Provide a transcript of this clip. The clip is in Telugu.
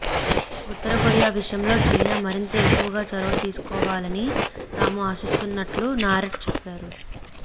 ఉత్తర కొరియా విషయంలో చైనా మరింత ఎక్కువగా చొరవ తీసుకోవాలని తాము ఆశిస్తున్నట్లు నారెట్ చెప్పారు